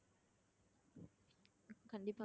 கண்டிப்பா